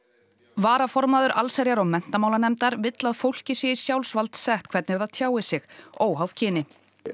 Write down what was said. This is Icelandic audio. varaformaður allsherjar og menntamálanefndar vill að fólki sé í sjálfsvald sett hvernig það tjái sig óháð kyni